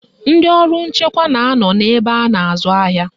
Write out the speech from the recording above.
Ndị ọrụ nchekwa na anọ n'ebe a na-azụ ahịa